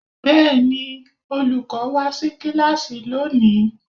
Bẹ́ẹ̀ni olùkọ́ wá sí kíláàsì lónìí.